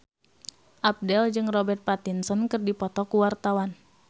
Abdel jeung Robert Pattinson keur dipoto ku wartawan